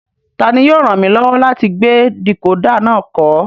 Tani yóò ràn mí lọ́wọ́ láti gbé dìkódà náà kọ́?